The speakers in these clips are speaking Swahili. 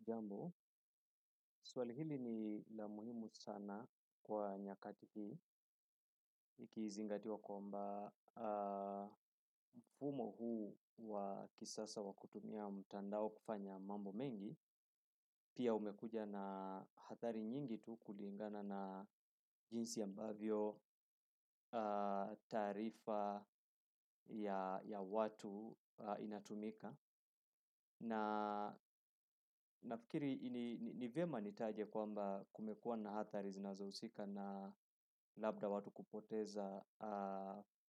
Jambo, swali hili ni la muhimu sana kwa nyakati hii, ikizingatiwa kwamba mfumo huu wa kisasa wa kutumia mtandao kufanya mambo mengi, pia umekuja na athari nyingi tu kulingana na jinsi ambavyo taarifa ya watu inatumika na nafikiri ni vyema nitaje kwamba kumekuwa na athari zinazohusika na labda watu kupoteza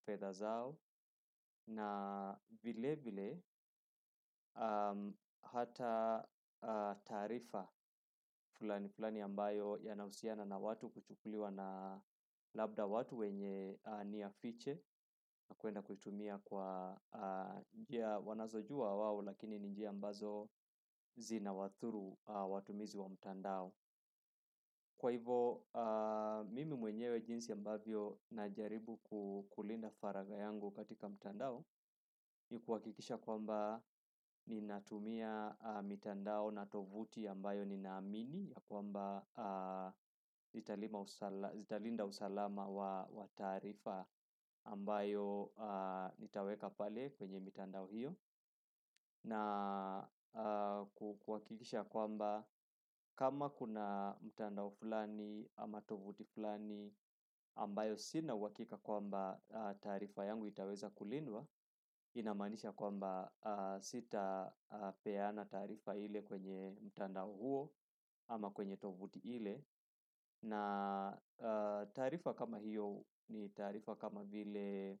fedha zao na vile vile hata taarifa fulani fulani ambayo yanahusiana na watu kuchukuliwa na labda watu wenye nia fiche na kuenda kuitumia kwa njia wanazojua wao lakini ni njia ambazo zinawadhuru watumizi wa mtandao. Kwa hivo, mimi mwenyewe jinsi ambavyo najaribu kulinda faragha yangu katika mtandao ni kuhakikisha kwamba ninatumia mitandao na tovuti ambayo ninaamini ya kwamba zitalinda usalama wa taarifa ambayo nitaweka pale kwenye mitandao hiyo na kuhakikisha kwamba kama kuna mtandao fulani ama tovuti fulani ambayo sina uhakika kwamba taarifa yangu itaweza kulindwa inamaanisha kwamba sitapeana taarifa ile kwenye mtandao huo ama kwenye tovuti ile na taarifa kama hiyo ni taarifa kama vile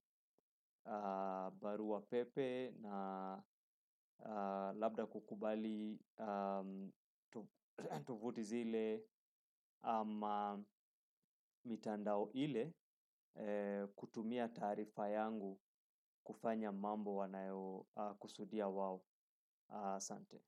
barua pepe labda kukubali tovuti zile ama mitandao ile kutumia taarifa yangu kufanya mambo wanayokusudia wao. Asante.